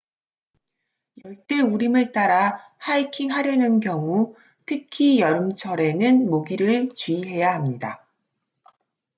열대 우림을 따라 하이킹하려는 경우 특히 여름철에는 모기를 주의해야 합니다